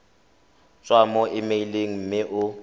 tswa mo emeileng mme o